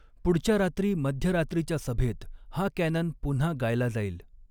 पुढच्या रात्री मध्यरात्रीच्या सभेत हा कॅनन पुन्हा गायला जाईल.